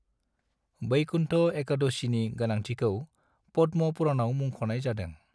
वैकुंठ एकादशीनि गोनांथिखौ पद्म पुराणाव मुंख'नाय जादों।